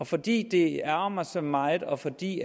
fordi det ærgrer mig så meget og fordi